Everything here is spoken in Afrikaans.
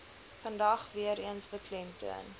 vandag weereens beklemtoon